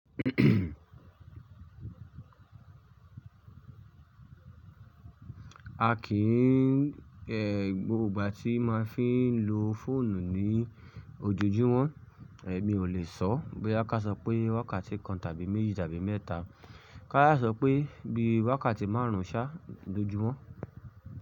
A kìí ẹ̀ gbogbo ìgbà tí máa fín lo fóònù ní ojojúmọ́, èmi ò lè sọ bí káṣọ pé wákàtí kan tàbí méjì tàbí mẹ́ta. Ká sà sọ pé bí wákàtí márùn-ún ṣá lojúmọ́